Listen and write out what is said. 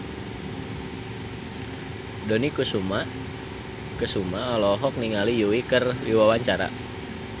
Dony Kesuma olohok ningali Yui keur diwawancara